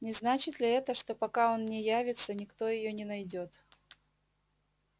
не значит ли это что пока он не явится никто её не найдёт